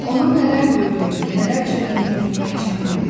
Onun nələr gördüyünü, nələr çəkdiyini bilmək çətindir.